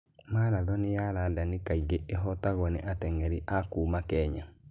Marathon ya London kaingĩ ĩhootagwo nĩ ateng'eri a kuuma Kenya.